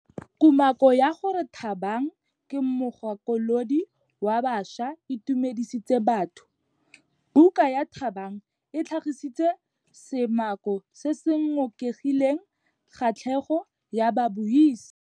Kumakô ya gore Thabang ke mogakolodi wa baša e itumedisitse batho. Buka ya Thabang e tlhagitse seumakô se se ngokileng kgatlhegô ya babuisi.